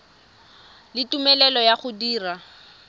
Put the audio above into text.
le tumelelo ya go dira